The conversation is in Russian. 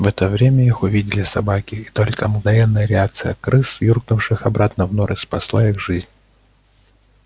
в это время их увидели собаки и только мгновенная реакция крыс юркнувших обратно в норы спасла их жизнь